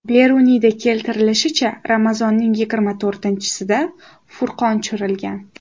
Beruniyda keltirilishicha, Ramazonning yigirma to‘rtinchisida Furqon tushirilgan.